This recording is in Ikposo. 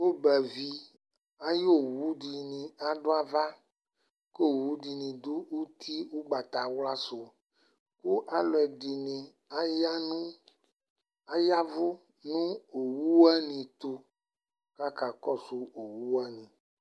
Ɔgbavi ay'owudɩnɩ adʋ ava : k'owudɩnɩ dʋ uti ʋgbatawla sʋ Kʋ alʋ ɛdɩnɩ aya nʋ , ayavʋ nʋ owu wanɩ ɛtʋ k'aka kɔsʋ owu wanɩ